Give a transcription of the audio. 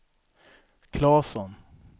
Claesson